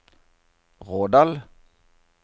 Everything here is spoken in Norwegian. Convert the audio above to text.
Rådal